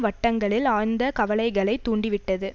வட்டங்களில் ஆழ்ந்த கவலைகளை தூண்டிவிட்டது